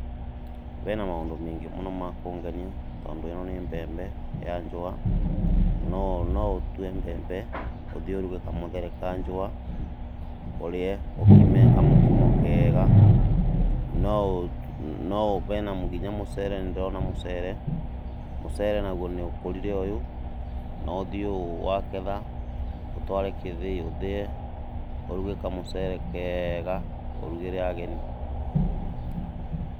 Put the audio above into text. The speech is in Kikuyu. Bena maũndũ maingĩ mũno me kũngenia, tondũ ĩno nĩ mbembe ya njũa, no no ũtue mbembe ũthiĩ ũruge kamũthere ka njũa, ũrĩe, ũkime kamũkimo kega, no ũ no ũ, nginya mũcere nĩndĩrona mũcere, mũcere naguo nĩ ũkũrire ũyũ, no ũthiĩ wagetha, ũtware gĩthĩi ũthĩe, ũruge kamũcere kega, ũrugĩre ageni.